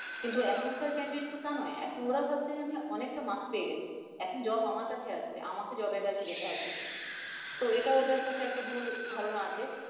কিন্তু এখনকার candidate তো তা নয়। এখন ওরা ভাবছে যে আমি অনেক টা marks পেয়ে গেছি, এখন job আমার কাছে আসবে, আমাকে job এর কাছে যেতে হবে না। তো এটা ওদের কাছে একটা ভুল ধারনা আছে।